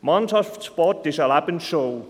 Mannschaftssport ist eine Lebensschule.